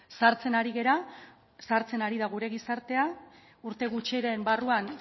zahartzen ari gara zahartzen ari da gura gizartea urte gutxiren barruan